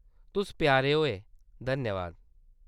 तुस प्यारा होऐ . धन्यवाद !